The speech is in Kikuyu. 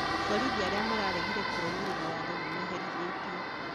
Borithi arĩa mararegire kũrũmĩrĩra waatho nĩmaherithĩtio